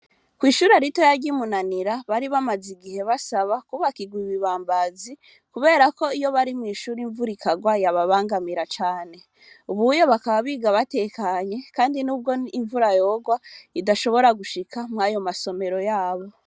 Kw'ishuri rito yaryimunanira bari bamaze igihe basaba kubakirwa ibibambazi, kubera ko iyo bari mw'ishuru imvura ikarwa yababangamira cane ubuyo bakaba biga batekanye, kandi n'ubwo imvura yorwa idashobora gushika mwayo masomero yabo.